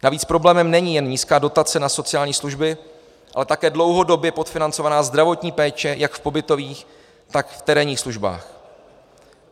Navíc problémem není jen nízká dotace na sociální služby, ale také dlouhodobě podfinancovaná zdravotní péče jak v pobytových, tak v terénních službách.